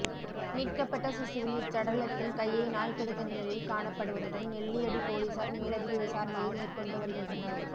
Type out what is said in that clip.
மீட்கப்பட்ட சிசுவின் இச்சடலத்தின் கையை நாய் கடித்த நிலையில் காணப்படுவதுடன் நெல்லியடி பொலிஸார் மேலதிக விசாரணையை மேற்கொண்டு வருகின்றனர்